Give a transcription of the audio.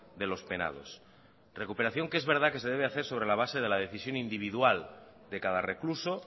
de los penados recuperación que es verdad que se debe hacer sobre la base de la decisión individual de cada recluso